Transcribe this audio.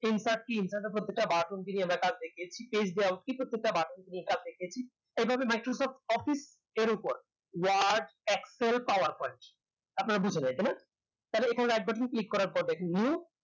enter key enter তা বলতেছি বাসন্তী এলাকা থেকে এই ভাবে microsoft office এর উপর word, excel, power point আপনাদের বুজতেহবে এখানে তাহলে এখানে একবার শুধু click করার পর দেখেন new